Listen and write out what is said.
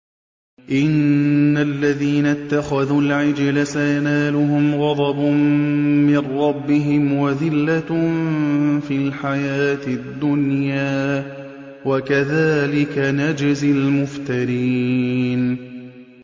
إِنَّ الَّذِينَ اتَّخَذُوا الْعِجْلَ سَيَنَالُهُمْ غَضَبٌ مِّن رَّبِّهِمْ وَذِلَّةٌ فِي الْحَيَاةِ الدُّنْيَا ۚ وَكَذَٰلِكَ نَجْزِي الْمُفْتَرِينَ